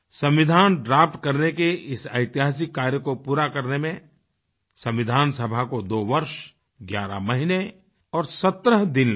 संविधान ड्राफ्ट करने के इस ऐतिहासिक कार्य को पूरा करने में संविधान सभा को 2 वर्ष 11 महीने और 17 दिन लगे